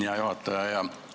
Hea juhataja!